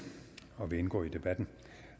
og indgå i debatten